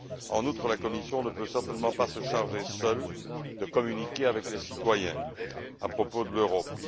En outre, la Commission ne peut certainement pas être seule à communiquer avec les citoyens à propos de l'Europe.